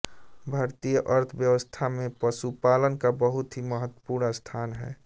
भारतीय अर्थव्यवस्था में पशुपालन का बहुत ही महत्वपूर्ण स्थान है